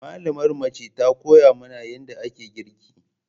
Malamar mace ta koya mana yadda ake girki.